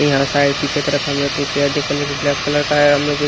ययहां side पीछे तरफ हम लोग के चेयर देख पा कि ब्लैक कलर का है हम